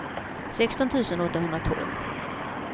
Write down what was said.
sexton tusen åttahundratolv